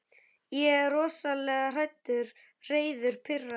Ég er rosalega hræddur, reiður, pirraður.